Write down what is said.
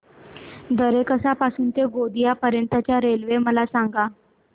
दरेकसा पासून ते गोंदिया पर्यंत च्या रेल्वे मला सांगा